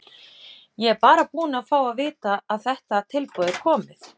Ég er bara búinn að fá að vita að þetta tilboð er komið.